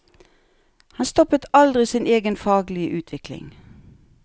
Han stoppet aldri sin egen faglige utvikling.